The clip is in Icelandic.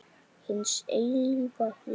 Hins eilífa lífs.